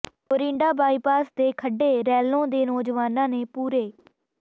Morinda bypass ਦੇ ਖੱਡੇ ਰੈਲੋਂ ਦੇ ਨੌਜਵਾਨਾਂ ਨੇ ਪੂਰੇ